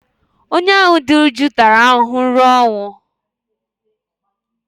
onye ahụ dị jụụ tara ahụhụ ruo ọnwụ